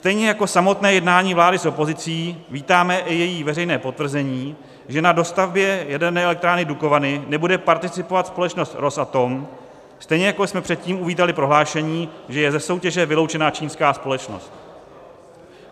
Stejně jako samotné jednání vlády s opozicí vítáme i její veřejné potvrzení, že na dostavbě jaderné elektrárny Dukovany nebude participovat společnost Rosatom, stejně jako jsme předtím uvítali prohlášení, že je ze soutěže vyloučena čínská společnost.